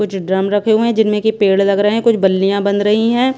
कुछ ड्रम रखे हुए हैं जिनमें कि पेड़ लग रहे हैं कुछ बल्लियां बन रही हैं।